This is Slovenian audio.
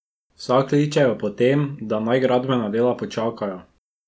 Vsa kličejo po tem, da naj gradbena dela počakajo.